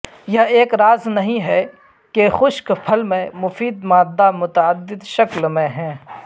یہ ایک راز نہیں ہے کہ خشک پھل میں مفید مادہ متعدد شکل میں ہیں